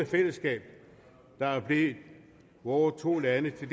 fællesskab der er blevet vores to lande til